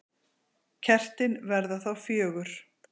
Kertin verða þá fjögur.